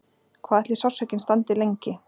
Hvað ætli sársaukinn standi lengi?